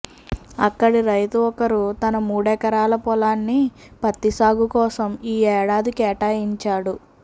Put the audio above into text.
అక్కడి రైతు ఒకరు తన మూడెకరాల పొలాన్ని పత్తిసాగు కోసం ఈ ఏడాది కేటాయించాడు